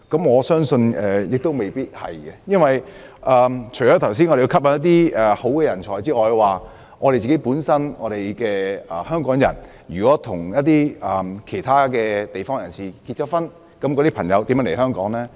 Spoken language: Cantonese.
我相信也未必如此，否則，除了剛才提到我們要吸引人才外，香港人如果與其他地方的人結婚，他們的配偶如何來港呢？